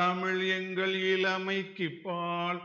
தமிழ் எங்கள் இளமைக்குப் பால்